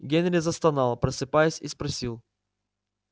генри застонал просыпаясь и спросил